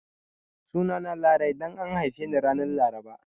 Sunana Larai dan an haife ni ran Laraba